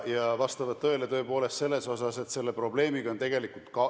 Need vastavad tõele selles mõttes, et selle probleemiga on tegeldud kaua.